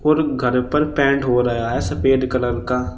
Room का ऊपर paint हो रहा है सफेद कलर का।